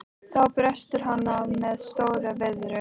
Þá brestur hann á með stór- viðri.